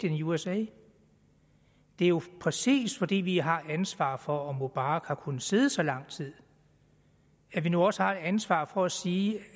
in usa det er jo præcis fordi vi har ansvaret for at mubarak har kunnet sidde så lang tid at vi nu også har et ansvar for at sige